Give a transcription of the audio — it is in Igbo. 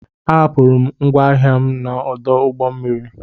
A hapụrụ m ngwa ahịa m n'ọdụ ụgbọ mmiri.